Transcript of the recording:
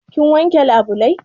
Kin wanke labulai?